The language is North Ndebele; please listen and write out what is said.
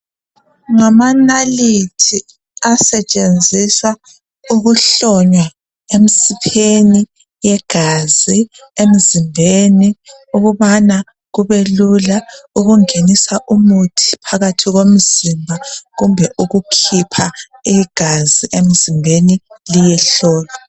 Ngamanalithi asetshenziswa ukuhlonywa emsipheni yegazi emzimbeni ukubana kubelula ukungenisa umuthi phakathi komzimba kumbe ukukhipha igazi emzimbeni liyehlolwa.